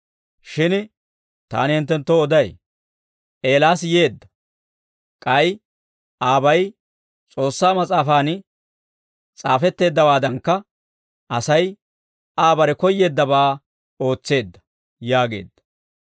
Shin taani hinttenttoo oday; Eelaas yeedda; k'ay aabay S'oossaa Mas'aafan s'aafetteeddawaadankka, Asay Aa bare koyyeeddabaa ootseedda» yaageedda.